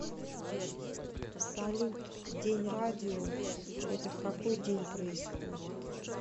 салют день радио это в какой день происходит